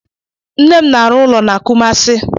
Nne m na-arụ ụlọ n'Kumasi.